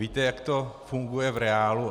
Víte, jak to funguje v reálu?